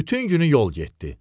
Bütün günü yol getdi.